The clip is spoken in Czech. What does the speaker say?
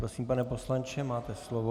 Prosím, pane poslanče, máte slovo.